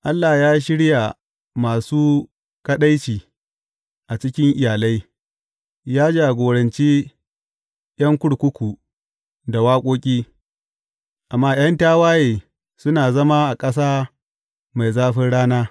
Allah ya shirya masu kaɗaici a cikin iyalai, ya jagorance ’yan kurkuku da waƙoƙi; amma ’yan tawaye suna zama a ƙasa mai zafin rana.